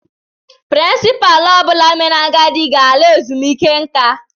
Pirincipaalu ọ bụla mere agadi ga ala ezumiike nka